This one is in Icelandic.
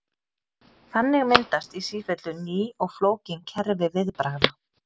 Þannig myndast í sífellu ný og flókin kerfi viðbragða.